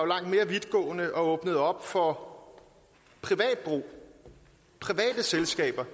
langt mere vidtgående og åbnede op for private selskaber